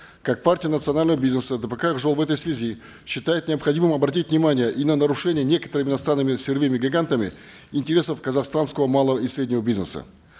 как партия национального бизнеса дпк ак жол в этой связи считает необходимым обратить внимание и на нарушение некоторыми иностранными сырьевыми гигантами интересов казахстанского малого и среднего бизнеса